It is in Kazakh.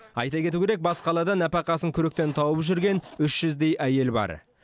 айта кету керек бас қалада нәпақасын күректен тауып жүрген үш жүздей әйел бар